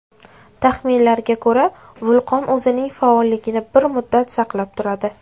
Taxminlarga ko‘ra, vulqon o‘zining faolligini bir muddat saqlab turadi.